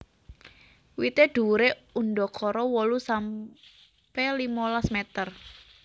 Wité dhuwuré undakara wolu sampe limolas meter